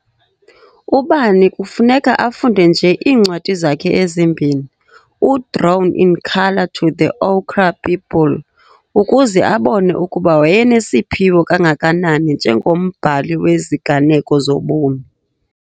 Ubani kufuneka afunde nje iincwadi zakhe ezimbini, uDrawn in Colour noThe Ochre People, ukuze abone ukuba wayenesiphiwo kangakanani njengombhali weziganeko zobomi.